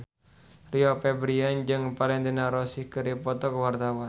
Rio Febrian jeung Valentino Rossi keur dipoto ku wartawan